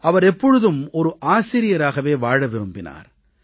அவர் எப்பொழுதும் ஒரு ஆசிரியராக வாழவே விரும்பினார்